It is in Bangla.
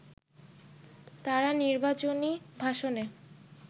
তারা নির্বাচনী ভাষণে